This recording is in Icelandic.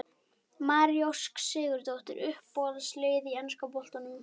María Ósk Sigurðardóttir Uppáhalds lið í enska boltanum?